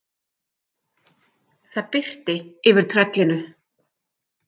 Það birti yfir tröllinu.